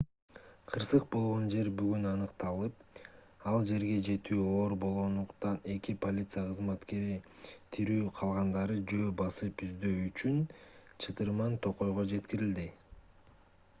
кырсык болгон жер бүгүн аныкталып ал жерге жетүү оор болгондуктан эки полиция кызматкери тирүү калгандарды жөө басып издөө үчүн чытырман токойго жеткирилди